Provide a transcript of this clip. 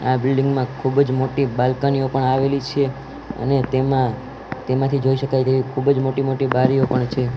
આ બિલ્ડિંગ માં ખુબજ મોટ્ટી બાલ્કનીઓ પણ આવેલી છે અને તેમા તેમાથી જોઈ શકાય તેવી ખુબજ મોટી મોટી બારિયો પણ છે.